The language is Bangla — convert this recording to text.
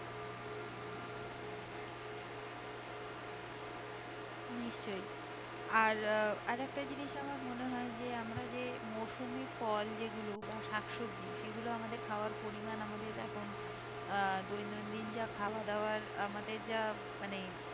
নিশ্চই আর আরেকটা জিনিস আমার মনে হয়ে যে আমরা যে মৌসুমী ফল যে গুলো বা শাক সবজি সেগুলো আমাদের খাবার পরিমান আমাদের এখন আহ দৈন দিন যা খাওয়া দাওয়ার আমাদের যা মানে